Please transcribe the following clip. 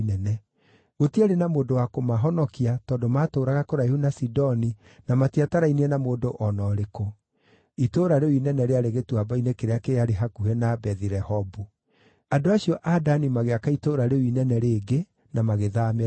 Gũtiarĩ na mũndũ wa kũmahonokia tondũ maatũũraga kũraihu na Sidoni na matiatarainie na mũndũ o na ũrĩkũ. Itũũra rĩu inene rĩarĩ gĩtuamba-inĩ kĩrĩa kĩarĩ hakuhĩ na Bethi-Rehobu. Andũ acio a Dani magĩaka itũũra rĩu inene rĩngĩ na magĩthaamĩra kuo.